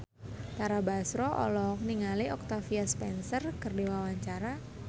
Tara Basro olohok ningali Octavia Spencer keur diwawancara